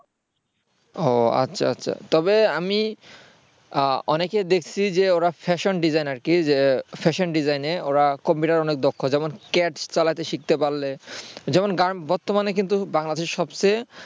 ও আচ্ছা আচ্ছা তবে আমি অনেকের দেখছি যে ওরা fashion designer যে fashion design এ ওরা কম্পিউটারে অনেক দক্ষ যেমন chat চালাতে শিখতে পারলে যেমন গান বর্তমানে কিন্তু বাংলাদেশের সবচেয়ে